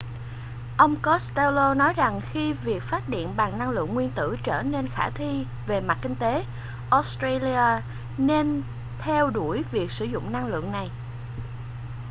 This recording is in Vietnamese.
ông costello nói rằng khi việc phát điện bằng năng lượng nguyên tử trở nên khả thi về mặt kinh tế australia nên theo đuổi việc sử dụng năng lượng này